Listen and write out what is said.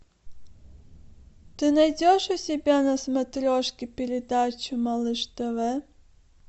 ты найдешь у себя на смотрешке передачу малыш тв